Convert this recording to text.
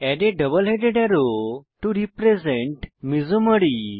add a double headed arrow to represent মেসোমেরি